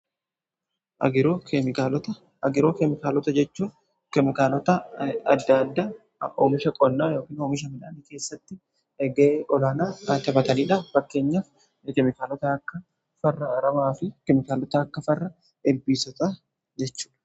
Agiroo keemikaalota jechuun kemikaalota adda addaa oomisha qonnaa ykn oomisha midhaanii keessatti ga'ee olaanaa qabaataniidha. Fakkeenyaaf kemikaalota akka farra aramaa fi keemikaalota akka farra ilbiisota jechuudha.